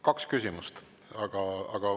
Kaks küsimust.